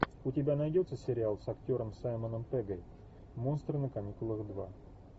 у тебя найдется сериал с актером саймоном пеггом монстры на каникулах два